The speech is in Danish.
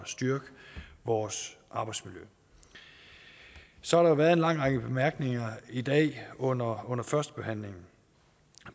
styrke vores arbejdsmiljø så har der været en lang række bemærkninger i dag under under førstebehandlingen